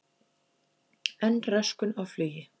Enn röskun á flugi